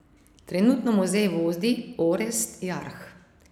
Trenutno muzej vodi Orest Jarh.